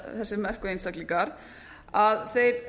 þessir merku einstaklingar að þeir